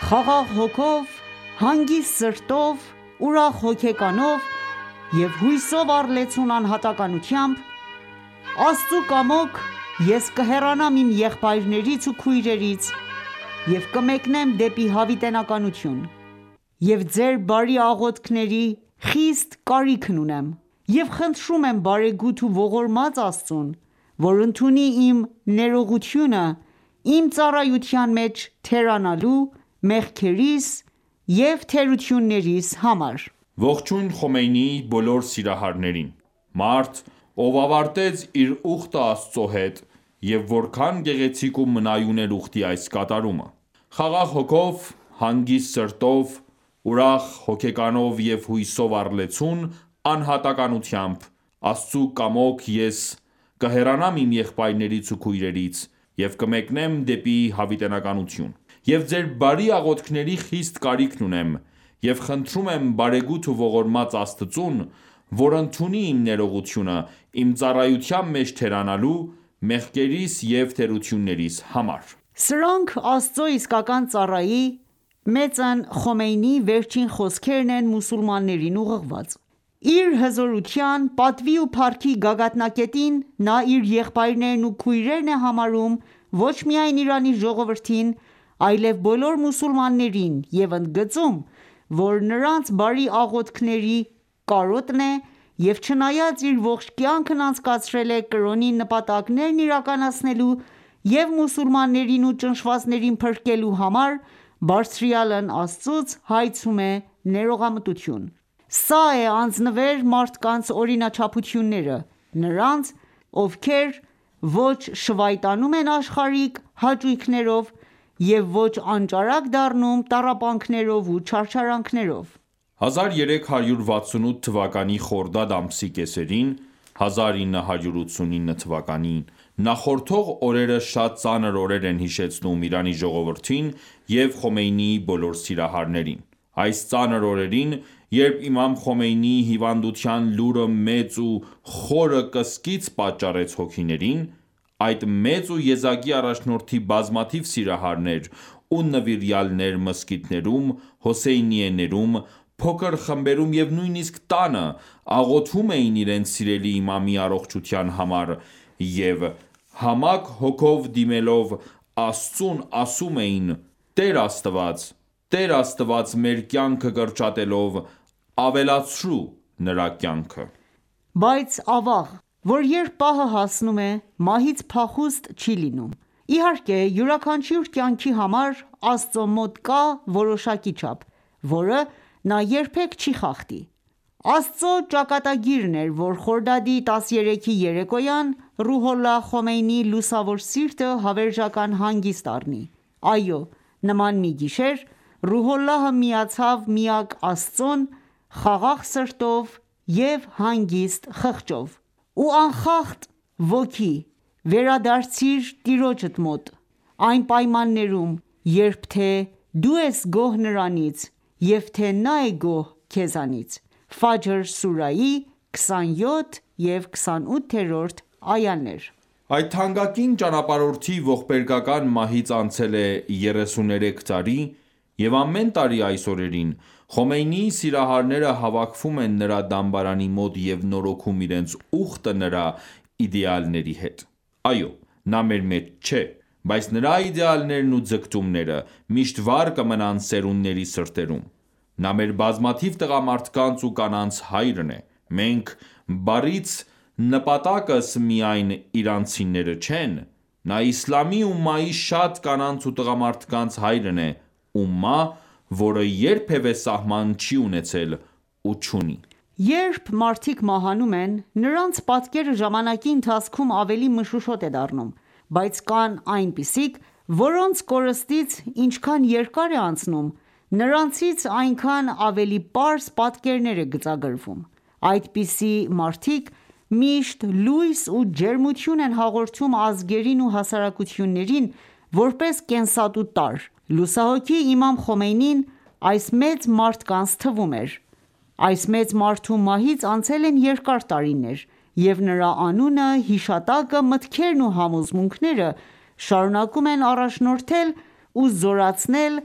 «Խաղաղ հոգով, հանգիստ սրտով, ուրախ հոգեկանով և հույսով առլեցուն անհատականությամբ ,Աստծու կամոք, ես կհեռանամ իմ եղբայրներից ու քույրերից և կմեկնեմ դեպի հավիտենականություն։ Եվ ձեր բարի աղոթքների խիստ կարիքն ունեմ:Եվ խնդրում եմ բարեգութ ու ողորմած Աստծուն, որ ընդունի իմ ներողությունը իմ ծառայության մեջ թերանալու ,մեղքերիս և թերություններիս համար»: Ողջույն Խոմեյնիի բոլոր սիրահարներին, մարդ ով ավարտեց իր ուխտը Աստծո հետ, և որքան գեղեցիկ ու մնայուն էր ուխտի այս կատարումը: «Խաղաղ հոգով, հանգիստ սրտով, ուրախ հոգեկանով և հույսով առլեցուն անհատականությամբ ,Աստծու կամոք, ես կհեռանամ իմ եղբայրներից ու քույրերից և կմեկնեմ դեպի հավիտենականություն։ Եվ ձեր բարի աղոթքների խիստ կարիքն ունեմ:Եվ խնդրում եմ բարեգութ ու ողորմած Աստծուն, որ ընդունի իմ ներողությունը իմ ծառայության մեջ թերանալու ,մեղքերիս և թերություններիս համար»: Սրանք Աստծո իսկական ծառայի՝Մեծն Խոմեյնիի վերջին խոսքերն են մուսուլմաններին ուղղված :Իր հզորության, պատվի ու փառքի գագաթնակետին նա իր եղբայրներն ու քույրերն է համարում ոչ միայն Իրանի ժողովրդին, այլև բոլոր մուսուլմաններին և ընդգծում ,որ նրանց բարի աղոթքների կարոտն է և չնայած իր ողջ կյանքն անցկացրել է կրոնի նպատակներն՝ իրականացնելու և մուսուլմաններին ու ճնշվածներին փրկելու համար, բարձրյալն Աստծուց հայցում է ներողամտություն: Սա է անձնվեր մարդկանց օրինաչափությունները, նրանց ովքեր ոչ շվայտանում են աշխարհիկ հաճույքներով և ոչ անճարակ դառնում տառապանքներով ու չարչարանքներով: 1368 թվականի խորդադ ամսի կեսերին նախորդող օրերը շատ ծանր օրեր են հիշեցնում Իրանի ժողովրդին և Խոմեյնիի բոլոր սիրահարներին :Այս ծանր օրերին, երբ Իմամ Խոմեյնիի հիվանդության լուրը մեծ ու խորը կսկիծ պատճառեց հոգիներին.այդ մեծ ու եզակի առաջնորդի բազմաթիվ սիրահարներ ու նվիրյալներ մզկիթներում, հոսեյնիեներում, փոքր խմբերում և նույնիսկ տանը աղոթում էին իրենց սիրելի Իմամի առողջության համար, և համակ հոգով դիմելով Աստծուն ասում էին՝...Տեր Աստված ,Տեր Աստված մեր կյանքը կրճատելով ,ավելացրու նրա կյանքը.... Բայց ավաղ, որ երբ պահը հասնում է ,մահից փախուստ չի լինում: Իհարկե, յուրաքանչյուր կյանքի համար, Աստծո մոտ կա որոշակի չափ, որը նա երբեք չի խախտի: Աստծո ճակատագիրն էր, որ Խորդադի 13-ի երեկոյան Ռուհոլլա Խոմեյնիի լուսավոր սիրտը հավերժական հանգիստ առնի:Այո, նման մի գիշեր, Ռուհոլլահը միացավ միակ Աստծուն ,խաղաղ սրտով ու հանգիստ խղճով: Ով անխախտ ոգի ,վերադարձիր Տիրոջդ մոտ, այն պայմաններում երբ թե՝ դու ես գոհ Նրանից և թե՝Նա է գոհ քեզանից:(Ֆաջր սուրահի 27 և 28-րդ այաներ): Այդ թանկագին ճանապարհորդի ողբերգական մահից անցել է երեսուներեք տարի և ամեն տարի այս օրերին, Խոմեյնիի սիրահարները հավաքվում են նրա դամբարանի մոտ և նորոգում իրենց ուխտը նրա իդեալների հետ։ Այո՛, նա մեր մեջ չէ, բայց նրա իդեալներն ու ձգտումները միշտ վառ կմնան սերունդների սրտերում։ Նա մեր բազմաթիվ տղամարդկանց ու կանանց հայրն է:«Մենք»բառից նպատակս միայն իրանցիները չեն: Նա Իսլամի ումմայի շատ կանանց ու տղամարդկանց հայրն է: Ումմա ,որը երբևէ սահման չի ունեցել ու չունի: Երբ մարդիկ մահանում են, նրանց պատկերը ժամանակի ընթացքում ավելի մշուշոտ է դառնում, բայց կան այնպիսիք, որոնց կորստից ինչքան երկար է անցնում, նրանցից այնքան ավելի պարզ պատկերներ են գծագրվում: Այդպիսի մարդիկ միշտ լույս ու ջերմություն են հաղորդում ազգերին ու հասարակություններին՝ որպես կենսատու տարր։ Լուսահոգի Իմամ Խոմեյնին, այս մեծ մարդկանց թվում էր:Այս մեծ մարդու մահից անցել են երկար տարիներ, և նրա անունը, հիշատակը, մտքերն ու համոզմունքները շարունակում են առաջնորդել ու զորացնել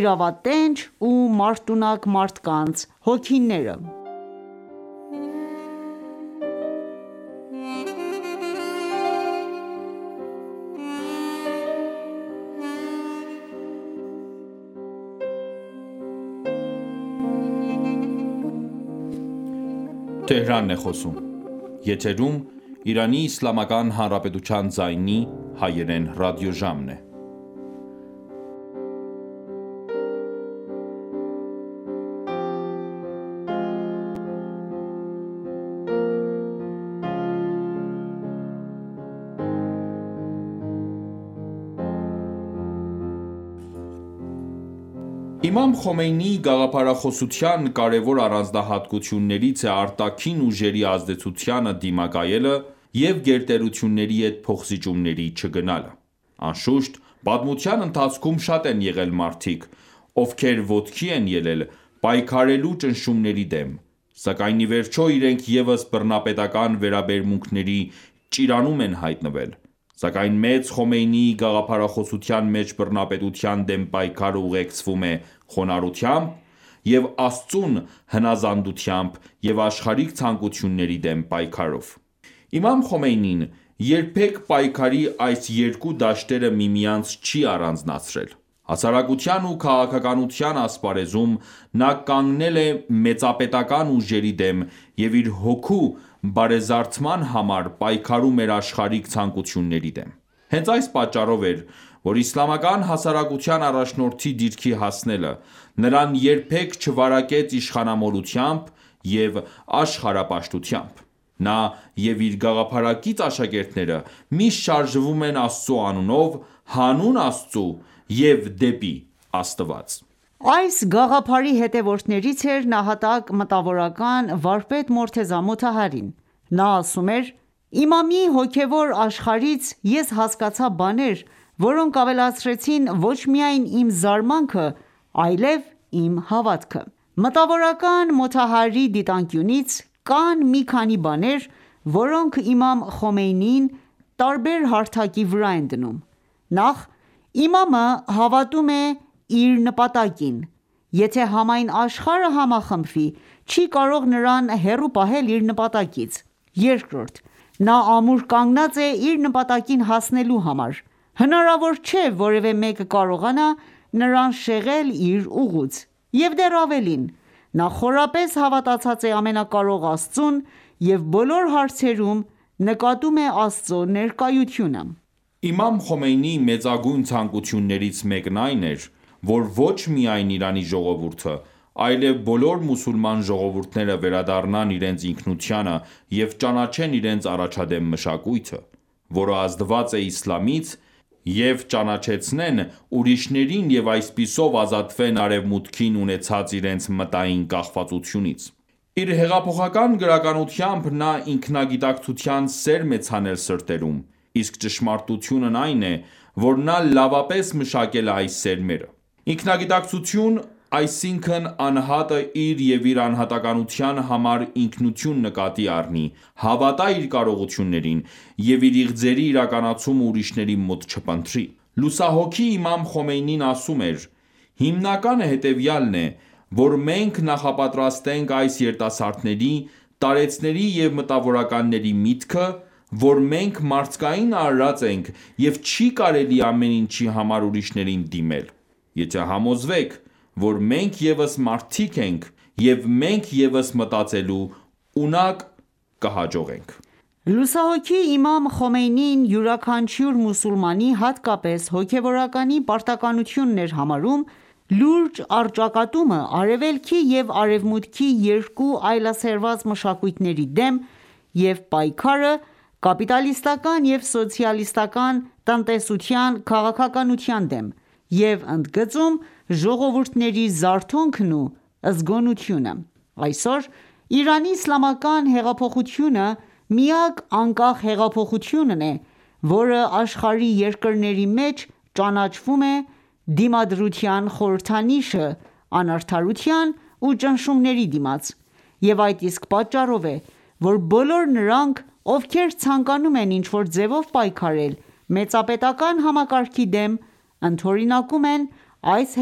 իրավատենչ ու մարտունակ մարդկանց հոգիները: Իմամ Խոմեյնիի գաղափարախոսության կարեւոր առանձնահատկություններից է արտաքին ուժերի ազդեցությանը դիմակայելը և գերտերությունների հետ փոխզիջումների չգնալը։ Անշուշտ, պատմության ընթացքում շատ են եղել մարդիկ, ովքեր ոտքի են ելել՝ պայքարելու ճնշումների դեմ, սակայն իվերջո իրենք ևս բռնապետական վերաբերմունքների ճիրանում են հայտնվել ,սակայն մեծ Խոմեյնիի գաղափարախոսության մեջ բռնապետության դեմ պայքարը ուղեկցվում է խոնարհությամբ և Աստծուն հնազանդությամբ և աշխարհիկ ցանկությունների դեմ պայքարով: Իմամ Խոմեյնին երբեք պայքարի այս երկու դաշտերը միմյանցից չի առանձնացրել :Հասարակության ու քաղաքականության ասպարեզում նա կանգնել է մեծապետական ուժերի դեմ և իր հոգու բարեզարդման համար պայքարում էր աշխարհիկ ցանկությունների դեմ:Հենց այս պատճառով էր, որ իսլամական հասարակության առաջնորդի դիրքի հասնելը ,նրան երբեք չվարակեց իշխանամոլությամբ և աշխարհապաշտությամբ:Նա և իր գաղափարակից աշակերտները միշտ շարժվում են Աստծո անունով, հանուն Աստծո և դեպի Աստված:Այս գաղափարի հետևորդներից էր ՝ նահատակ մտավորական, վարպետ Մորթեզա Մոթահարին:Նա ասում էր.«Իմամի հոգևոր աշխարհից ես հասկացա բաներ, որոնք ավելացրեցին ոչ միայն իմ զարմանքը, այլև իմ հավատքը»:Մտավորական Մոթահարիի դիտանկյունից, կան մի քանի բաներ, որոնք Իմամ Խոմեյնիին տարբեր հարթակի վրա են դնում.«Նախ՝ Իմամը հավատում է իր նպատակին, եթե համայն աշխարհը համախմբվի, չի կարող նրան հեռու պահել իր նպատակից: Երկրորդ՝ Նա ամուր կանգնած է իր նպատակին հասնելու համար, հնարավոր չէ ,որևէ մեկը կարողանա նրան շեղել իր ուղուց և դեռ ավելին ՝նա խորապես հավատացած է ամենակարող Աստծուն և բոլոր հարցերում նկատում է Աստծու ներկայությունը»: Իմամ Խոմեյնիի մեծագույն ցանկություններից մեկն այն էր, որ ոչ միայն Իրանի ժողովուրդը, այլեւ բոլոր մուսուլման ժողովուրդները վերադառնան իրենց ինքնությանը և ճանաչեն իրենց առաջադեմ մշակույթը, որը ազդված է Իսլամից և ճանաչեցնեն ուրիշներին և այսպիսով ազատվեն արևմուտքին ունեցած իրենց մտային կախվածությունից: Իր հեղափոխական գրականությամբ նա ինքնագիտակցության սերմ է ցանել սրտերում, իսկ ճշմարտությունն այն է, որ նա լավապես մշակել է այս սերմերը:Ինքնագիտակցություն, այսինքն անհատը իր և իր անհատականության համար ինքնություն նկատի առնի ,հավատա իր կարողությյուններին և իր իղձերի իրականացումը ուրիշների մոտ չփնտրի: Լուսահոգի Իմամ Խոմեյնին ասում էր.«Հիմնականը հետևյալն է ,որ մենք նախապատրաստենք այս երիտասարդների, տարեցների և մտավորականների միտքը ,որ մենք մարդկային արարած ենք և չի կարելի ամեն ինչի համար ուրիշներին դիմել: Եթե համոզվեք որ մենք ևս մարդիկ ենք և մենք ևս մտածելու ունակ ,կհաջողենք»: Լուսահոգի Իմամ Խոմեյնին յուրաքանչյուր մուսուլմանի, հատկապես՝ հոգեւորականի պարտականությունն էր համարում լուրջ առճակատումը Արևելքի և Արևմուտքի երկու այլասերված մշակույթների դեմ և պայքարը կապիտալիստական ​​և սոցիալիստական տնտեսության քաղաքականության դեմ և ընդգծում ժողովուրդների զարթոնքն ու զգոնությունը։ Այսօր Իրանի Իսլամական հեղափոխությունը միակ անկախ հեղափոխությունն է, որը աշխարհի երկրների մեջ ճանաչվում է դիմադրության խորհրդանիշը անարդարության ու ճնշումների դիմաց և այդ իսկ պատճառով է ,որ բոլոր նրանք ովքեր ցանկանում են ինչ որ ձևով պայքարել մեծապետական համակարգի դեմ ,ընդօրինակում են այս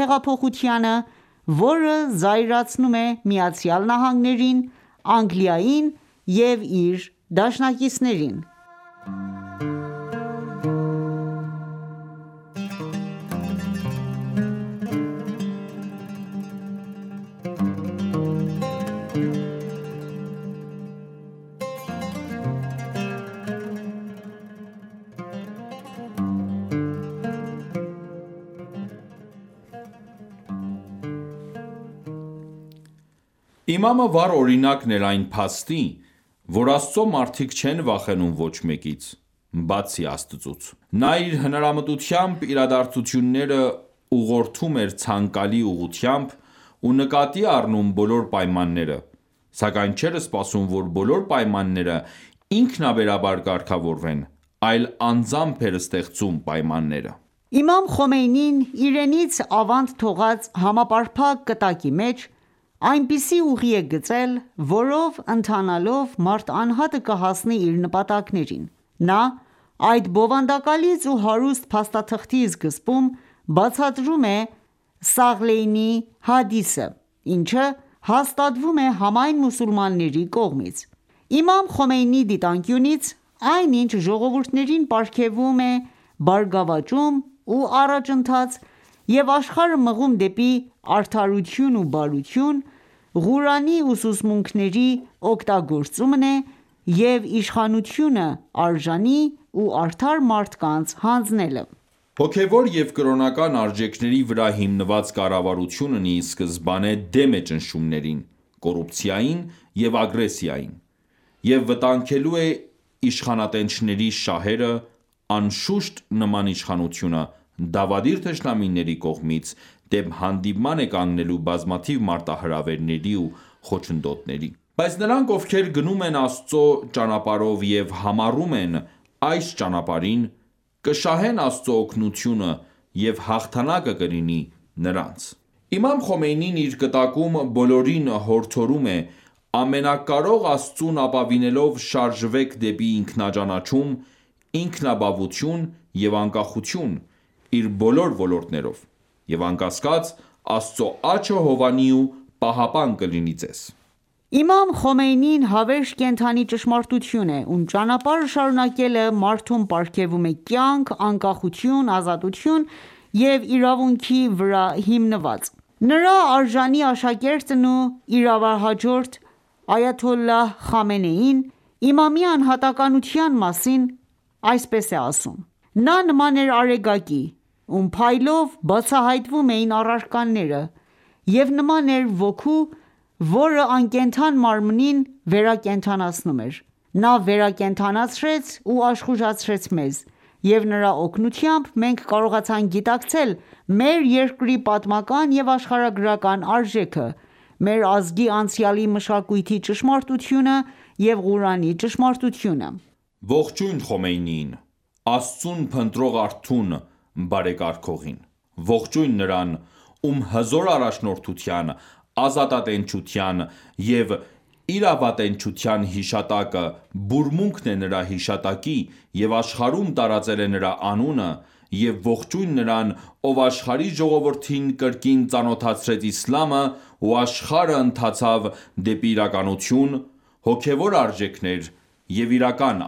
հեղափոխությանը ,որը զայրացնում է ԱՄՆ-ին, Անգլիային և իր դաշնակիցներին: Իմամը վառ օրինակ էր այն փաստի, որ Աստծո մարդիկ չեն վախենում ոչ մեկից, բացի Աստծուց:Նա իր հնարամտությամբ իրադարձությունները ուղղորդում էր ցանկալի ուղղությամբ ու նկատի առնում բոլոր պայմանները, սակայն չէր սպասում որ բոլոր պայմանները ինքանաբերաբար կարգավորվեն ,այլ անձամբ էր ստեղծում պայմանները: Իմամ Խոմեյնին իրենից ավանդ թողած համապարփակ կտակի մեջ ,այնպիսի ուղի է գծել ,որով ընթանալով մարդ անհատը կհասնի իր նպատակակետին: Նա այդ բովանդակալից ու հարուստ փաստաթղթի սկզբում ,բացատրում է Սաղլեյնի հադիսը, ինչը հաստատվում է համայն մուսուլմանների կողմից: Իմամ Խոմեյնիի դիտանկյունից ,այն ինչ ժողովուրդներին պարգևում է բարգավաճում ու առաջընթաց և աշխարհը մղում դեպի արդարություն ու բարություն ,Ղուրանի ուսուցմունքների օգտագործումն է և իշխանությունը արժանի ու արդար մարդկանց հանձնելը: Հոգևոր և կրոնական արժեքների վրա հիմնված կառավարությունն ի սկզբանե դեմ է ճնշումներին, կոռուպցիային և ագրեսիային.և վտանգելու է իշխանատենչների շահերը, անշուշտ, նման իշխանությունը դավադիր թշնամիների կողմից դեմ հանդիման է կանգնելու բազմաթիվ մարտահրավերների ու խոչընդոտների :Բայց նրանք, ովքեր գնում են Աստծո ճանապարհով և համառում են այս ճանապարհին, կշահեն Աստծո օգնությունը և հաղթանակը կլինի նրանցը:Իմամ Խոմեյնին իր կտակում բոլորին հորդորում է.«Ամենակարող Աստծուն ապավինելով շարժվեք դեպի ինքնաճանաչում, ինքնաբավություն և անկախություն՝ իր բոլոր ոլորտներով, և անկասկած, Աստծո աջը հովանի ու պահապան կլինի Ձեզ»: Իմամ Խոմեյնին հավերժ կենդանի ճշմարտություն է, ում ճանապարհը շարունակելը մարդուն պարգևում է կյանք ՝ անկախության, ազատության և իրավունքի վրա հիմնված։ Նրա արժանի աշակերտն ու իրավահաջորդ այաթոլլահ Խամենեին Իմամի անհատականության մասին ասում է հետևյալը.«Նա նման էր արեգակի, ում փայլով բացահայտվում էին առարկաները և նման էր ոգու, որը անկենդան մարմնին ,վերակենդանացնում էր:Նա վերակենդանացրեց ու աշխուժացրեց մեզ, և նրա օգնությամբ մենք կարողացանք գիտակցել մեր երկրի պատմական և աշխարհագրական արժեքը, մեր ազգի անցյալի մշակույթի ճշմարտությունը և Ղուրանի ճշմարտությունը»: Ողջույն Խոմեյնիին, Աստծուն փնտրող արթուն բարեկարգողին: Ողջույն նրան, ում հզոր առաջնորդության, ազատատենչության և իրավատենչության հիշատակը ,բուրմունքն է նրա հիշատակի և աշխարհում տարածել է նրա անունը և ողջույն նրան ,ով աշխարհի ժողովուրդին կրկին ծանոթացրեց Իսլամը և աշխարհը ընթացավ դեպի իրականություն, հոգեւոր արժեքներ և իրական